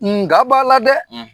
N ga b'a la dɛ!